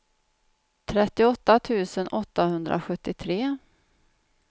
trettioåtta tusen åttahundrasjuttiotre